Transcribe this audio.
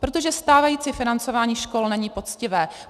Protože stávající financování škol není poctivé.